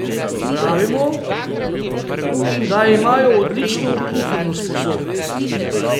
Pravimo, da imajo odlično pufrno sposobnost.